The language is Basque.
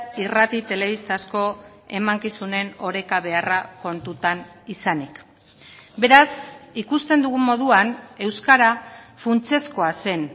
irrati telebistazko emankizunen oreka beharra kontutan izanik beraz ikusten dugun moduan euskara funtsezkoa zen